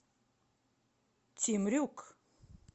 темрюк